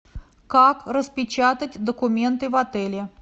как распечатать документы в отеле